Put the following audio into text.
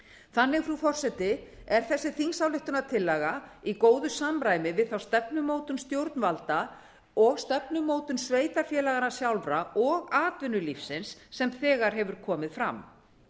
þannig frú forseti er þessi þingsályktunartillaga í góðu samræmi við þá stefnumótun stjórnvalda og stefnumótun sveitarfélaganna sjálfra og atvinnulífsins sem þegar hefur komið fram